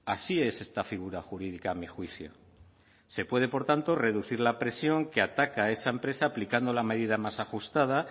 así es esta figura jurídica a mi juicio se puede por tanto reducir la presión que ataca a esa empresa aplicando la medida más ajustada